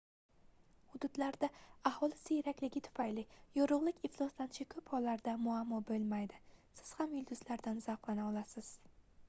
hududlarda aholi siyrakligi tufayli yorugʻlik ifloslanishi koʻp hollarda muammo boʻlmaydi siz ham yulduzlardan zavqlana olasiz